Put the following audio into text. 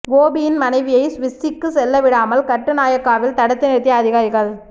கோபியின் மனைவியை சுவிஸுக்கு செல்ல விடாமல் கட்டுநாயக்காவில் தடுத்து நிறுத்திய அதிகாரிகள்